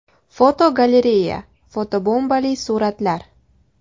Fotogalereya: Fotobombali suratlar.